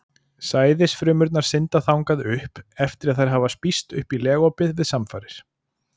Sæðisfrumurnar synda þangað upp eftir að þær hafa spýst upp í legopið við samfarir.